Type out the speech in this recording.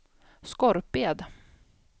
Skorped